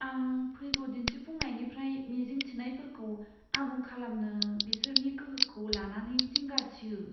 आं फैगौ दिन्थिफुंनायनिफ्राय मिजिं थिनायफोरखौ आबुं खालामनो बिसोरनि गोहोखौ लानानै जिंगासियो।